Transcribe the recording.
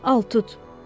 Al tut,